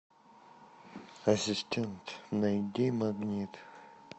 ассистент найди магнит